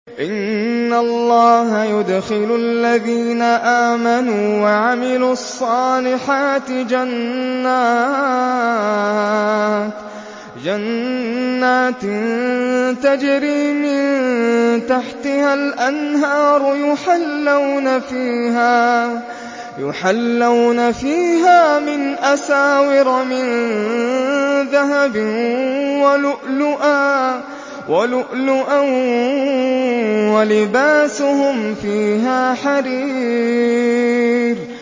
إِنَّ اللَّهَ يُدْخِلُ الَّذِينَ آمَنُوا وَعَمِلُوا الصَّالِحَاتِ جَنَّاتٍ تَجْرِي مِن تَحْتِهَا الْأَنْهَارُ يُحَلَّوْنَ فِيهَا مِنْ أَسَاوِرَ مِن ذَهَبٍ وَلُؤْلُؤًا ۖ وَلِبَاسُهُمْ فِيهَا حَرِيرٌ